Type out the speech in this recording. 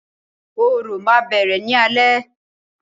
Orò ma bẹrẹ ni alẹ.